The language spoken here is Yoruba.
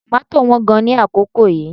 Tòmátò wán gan-an ní àkókò yìí